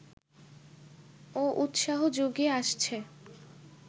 ও উৎসাহ যুগিয়ে আসছে